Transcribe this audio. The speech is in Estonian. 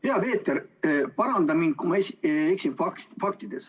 Hea Peeter, paranda mind, kui ma eksin faktides.